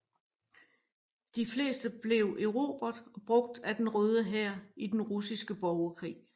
De fleste blev erobret og brugt af Den Røde Hær i den Russiske Borgerkrig